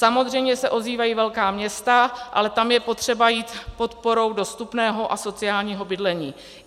Samozřejmě se ozývají velká města, ale tam je potřeba jít podporou dostupného a sociálního bydlení.